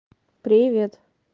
привет